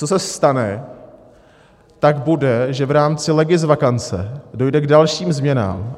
Co se stane, tak bude, že v rámci legisvakance dojde k dalším změnám.